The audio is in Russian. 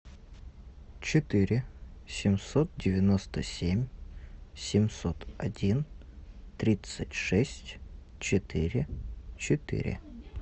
четыре семьсот девяносто семь семьсот один тридцать шесть четыре четыре